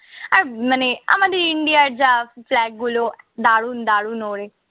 আর মানে আমাদের ইন্ডিয়ার যা flag গুলো দারুন দারুন ওড়ে।